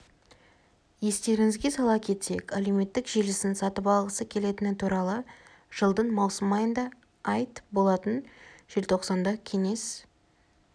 естеріңізге сала кетсек әлеуметтік желісін сатып алғысы келетіні туралы жылдың маусым айында айт болатын желтоқсанда кеңес